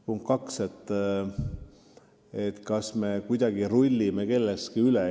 Punkt kaks: kas me kuidagi rullime kellestki või millestki üle?